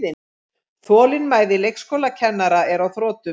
Þolinmæði leikskólakennara er á þrotum